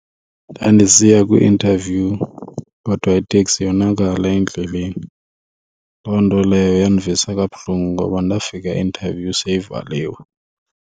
Ndandisiya kwi-interview kodwa iteksi yonakala endleleni, loo nto leyo yandivisa kabuhlungu ngoba ndafika i-interview seyivaliwe.